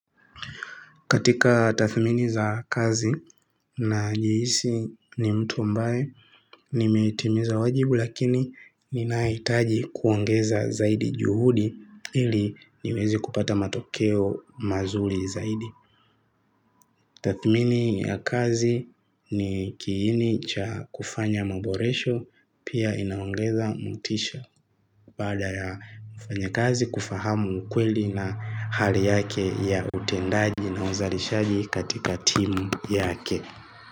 Katika tathmini za kazi najihisi ni mtu ambae, nimeitimiza wajibu lakini ninahitaji kuongeza zaidi juhudi ili niweze kupata matokeo mazuri zaidi. Tathmini ya kazi ni kiini cha kufanya maboresho pia inaongeza motisha. Baada ya mfanyakazi kufahamu ukweli na hali yake ya utendaji na uzalishaji katika timu yake.